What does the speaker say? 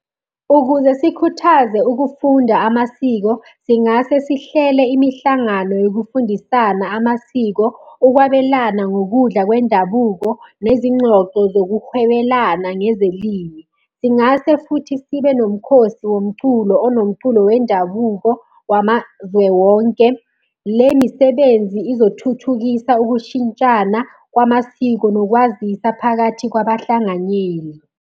Ukuze sikhuthaze ukufunda amasiko, singase sihlele imihlangano yokufundisana amasiko, ukwabelana ngokudla kwendabuko, nezingxoxo zokuhwebelana ngezilimi. Singase futhi sibe nomkhosi womculo onomculo wendabuko wamazwe wonke. Le misebenzi izothuthukisa ukushintshana kwamasiko nokwazisa phakathi kwabahlanganyeli.